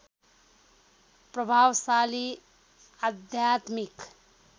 प्रभावशाली आध्यात्मिक